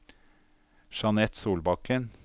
Jeanette Solbakken